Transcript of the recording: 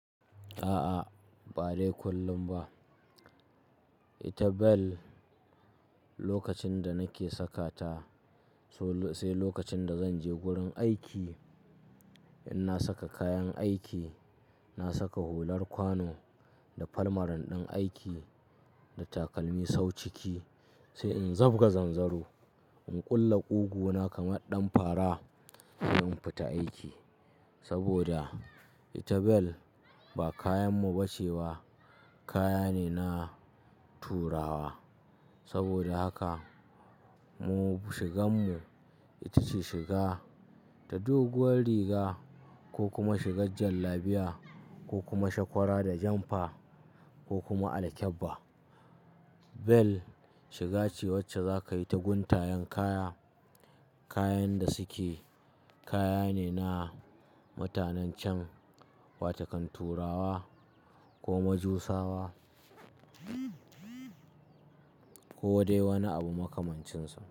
A'a, ba dai kullum ba. Ita bel lokacin da nake saka ta, sai lokacin da zanje gurin aiki in na saka kayan aiki, na saka hular kwano da falmaran ɗin aiki da takalmi sau ciki sai in zabga zanzaro, in ƙulla ƙugu na kamar ɗan fara sai in fita aiki. Saboda ita bel ba kayan muba ce ba, kaya ne na turawa. Saboda haka mu shigan mu ita ce shiga ta doguwar riga ko kuma shigar jallabiya ko kuma shakwara da janfa ko kuma alkyabba. Bel shiga ce wacce zakayi ta guntayen kaya, kayan da suke kaya ne na mutanen cen wata kan turawa ko majusawa ko dai wani abu makamancin su.